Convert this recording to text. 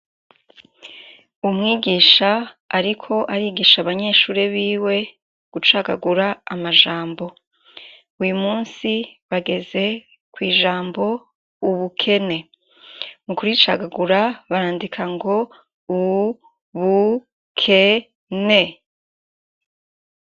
Umwigisha ariko arigisha abanyeshure biwe. gucagagura amajambo, uyumusi bageze kw'ijambo Ubukene. mukuricagagura barandika ngo u bu ke ne.